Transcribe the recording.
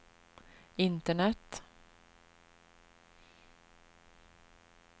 internet